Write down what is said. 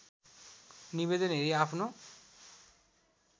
निवेदन हेरि आफ्नो